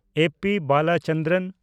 A. P. Balachandran